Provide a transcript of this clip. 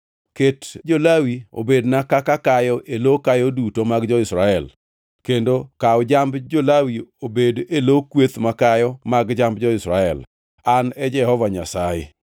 Ket jo-Lawi obedna kaka kayo e lo kayo duto mag jo-Israel, kendo kaw jamb jo-Lawi obed e lo kweth makayo mag jamb jo-Israel. An e Jehova Nyasaye.”